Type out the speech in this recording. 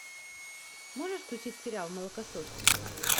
можешь включить сериал молокососы